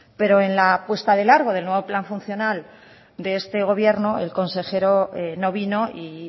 pero en la puesta de largo del nuevo plan funcional de este gobierno el consejero no vino y